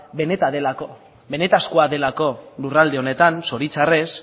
benetakoa delako lurralde honetan zoritxarrez